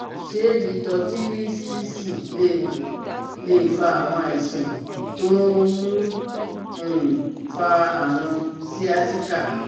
Ṣé lítọ́tírísísì lè lè fa àwọn àìsàn tó ń um fa àrùn sciatica?